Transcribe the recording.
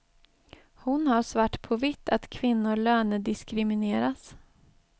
Hon har svart på vitt att kvinnor lönediskrimineras.